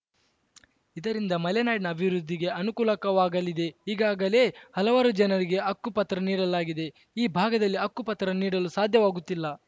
ಇದರಿಂದ ಮಲೆನಾಡಿನ ಅಭಿವೃದ್ಧಿಗೆ ಅನುಕೂಲಕವಾಗಲಿದೆ ಈಗಾಗಲೇ ಹಲವಾರು ಜನರಿಗೆ ಅಕ್ಕುಪತ್ರ ನೀಡಲಾಗಿದೆ ಈ ಭಾಗದಲ್ಲಿ ಅಕ್ಕು ಪತ್ರ ನೀಡಲು ಸಾಧ್ಯವಾಗುತ್ತಿಲ್ಲ